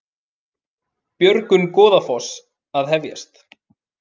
Björgun Goðafoss að hefjast